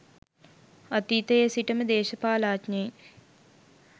අතීතයේ සිටම දේශපාලනඥයින්